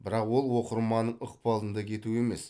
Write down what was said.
бірақ ол оқырманның ықпалында кету емес